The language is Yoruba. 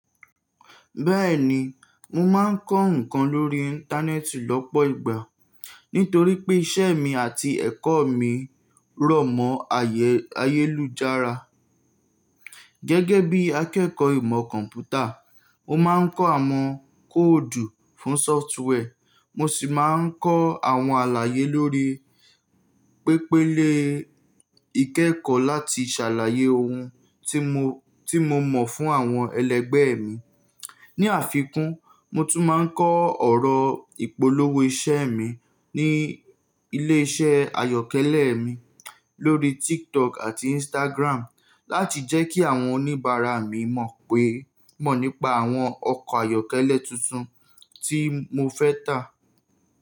Bẹ́ẹ̀ni, mo máa ń kọ́ ǹkan lórí Íńtánẹ́ẹ̀tì lọ́pọ̀ ìgbà nítorí pé iṣẹ́ mi àti ẹ̀kọ́ mi rọ̀mọ́ ayélujára. Gẹ́gẹ́ bí akẹ́kọ̀ọ́ ìmọ̀ kọ̀m̀pútà, mo máa ń kọ́ àwọn kóòdù fún sofrtware, mo sì máa ń kọ́ àwọn àlàyé lórí pépélè ìkẹ́kọ̀ọ́ láti ṣàlàyé ohun tí mo mọ̀ fún àwọn ẹlẹgbẹ́ mi. Ni àfikún, mo tún máa ń kọ́ ọ̀rọ̀ ìpolówó iṣẹ́ mi ní ilé iṣẹ́ ayọ́kẹ́lẹ́ mi lórí TikTok àti Instagram láti jẹ́ kí àwọn oníbàárà mi mọ̀ nípa àwọn ọkọ̀ ayọ́kẹ́lẹ́ tuntun tí mo fẹ́ tà.